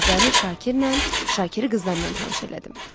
Qızları Şakirlə, Şakiri qızlarla tanış elədim.